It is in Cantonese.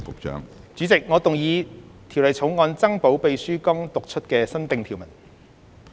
主席，我動議《條例草案》增補秘書剛讀出的新訂條文。